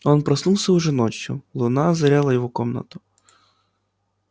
он проснулся уже ночью луна озаряла его комнату